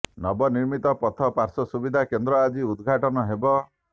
ନବ ମିର୍ମିତ ପଥ ପାର୍ଶ୍ବ ସୁବିଧା କେନ୍ଦ୍ର ଆଜି ଉଦଘାଟନ ହେବ